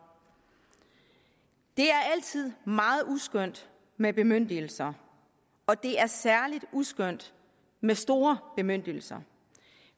det er altid meget uskønt med bemyndigelser og det er særlig uskønt med store bemyndigelser